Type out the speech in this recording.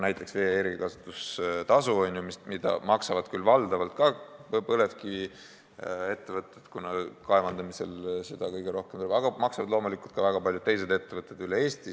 Näiteks, vee-erikasutustasu maksavad küll valdavalt põlevkiviettevõtted, aga seda maksavad loomulikult ka väga paljud teised ettevõtted üle Eesti.